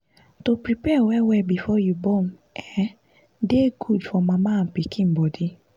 to prepare well well before you born[um]dey good for mama and pikin body